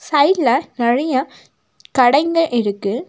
சைட்ல நெறைய கடைங்க இருக்கு.